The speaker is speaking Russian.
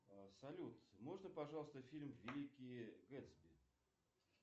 салют можно пожалуйста фильм великий гэтсби